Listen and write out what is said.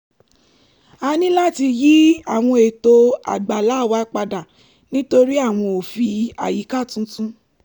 a ní láti yí àwọn ètò àgbàlá wa padà nítorí àwọn òfin àyíká tuntun